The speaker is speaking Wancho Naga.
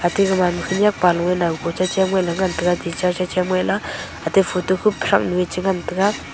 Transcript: aate gamanma khanyak pa lung ee nauko chachem ngele ngantaga teacher cha chem aa la aate photo khup pu thaknu ee chingantaga.